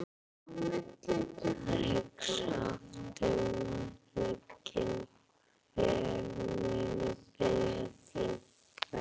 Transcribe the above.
og hugsa oft um það hnugginn, hver muni biðja þín.